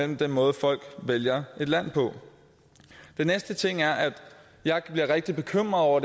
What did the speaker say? den måde folk vælger et land på den næste ting er at jeg bliver rigtig bekymret over